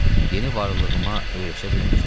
Yeni varlığıma öyrəşə bilmirdim.